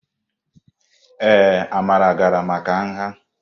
Ee, Amara gara maka nha.